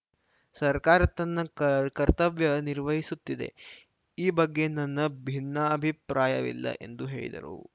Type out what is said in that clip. ಸರ್ಕಾರ ತನ್ನ ಕರ್ತ ಕರ್ತವ್ಯ ನಿರ್ವಹಿಸುತ್ತಿದೆ ಈ ಬಗ್ಗೆ ನನ್ನ ಭಿನ್ನಾಭಿಪ್ರಾಯವಿಲ್ಲ ಎಂದು ಹೇಳಿದರು